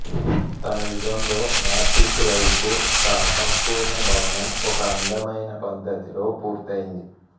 తన యుగంలో north east వైపు ఒక అసంపూర్ణ భవనం ఒక అందమైన పద్ధతిలో పూర్తయింది